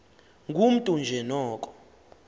ngumntu nje noko